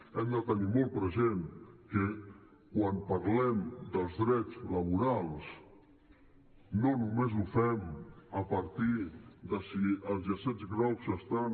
hem de tenir molt present que quan parlem dels drets laborals no només ho fem a partir de si els llacets grocs estan